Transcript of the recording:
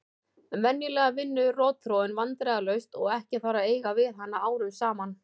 Venjulega vinnur rotþróin vandræðalaust og ekki þarf að eiga við hana árum saman.